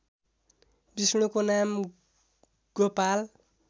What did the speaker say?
विष्णुको नाम गोपाल